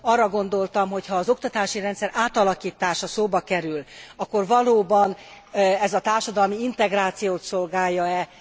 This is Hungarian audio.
Arra gondoltam, hogyha az oktatási rendszer átalakítása szóba kerül, akkor valóban ez a társadalmi integrációt szolgálja e?